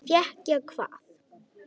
Fékk ég hvað?